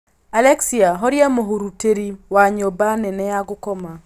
Alexia horia mũhurutĩri wa nyũmba nene ya gũkoma